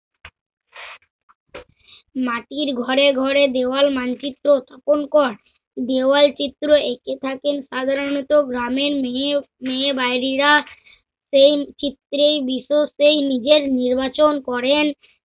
মাটির ঘরে ঘরে দেওয়াল মানচিত্র উপ অঙ্কন। দেয়ালচিত্র একে থাকেন সাধারণত গ্রামের মেয়ে মেয়ে বাড়িরা। সেই চিত্রেই বিশেষ সেই নির্বাচন করেন।